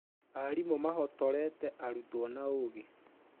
Aarimũ mahotorete arutwo na ũgĩ